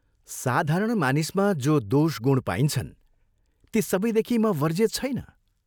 साधारण मानिसमा जो दोष गुण पाइन्छन् ती सबैदेखि म वर्जित छैन।